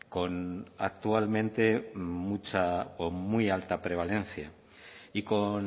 con actualmente mucha o muy alta prevalencia y con